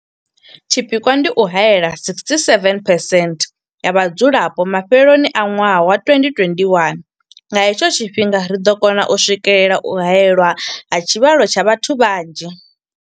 Tshipikwa ndi u haela 67 percent ya vhadzulapo mafheloni a ṅwaha wa 2021. Nga he tsho tshifhinga ri ḓo kona u swikelela u haelwa ha tshivhalo tsha vhathu vha nzhi.